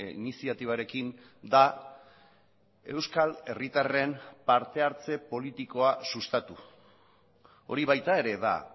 iniziatibarekin da euskal herritarren parte hartze politikoa sustatu hori baita ere da